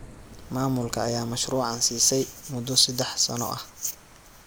Maamulka ayaa mashruucan siisay mudoo saddex sano ah.